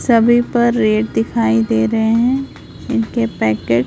सभी पर रेट दिखाई दे रहे हैं इनके पैकेट --